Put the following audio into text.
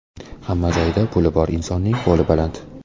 Hamma joyda puli bor insonning qo‘li baland.